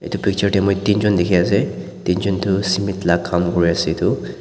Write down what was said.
edu picture tae moi teenjon dikhiase teenjon toh cement la Kam kuriase edu.